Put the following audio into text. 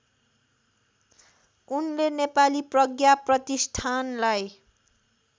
उनले नेपाली प्रज्ञाप्रतिष्ठानलाई